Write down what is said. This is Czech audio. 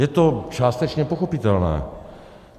Je to částečně pochopitelné.